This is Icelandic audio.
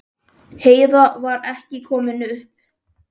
Heiða var ekki komin upp.